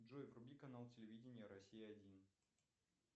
джой вруби канал телевидения россия один